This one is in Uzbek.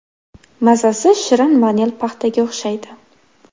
Mazasi shirin vanil paxtaga o‘xshaydi.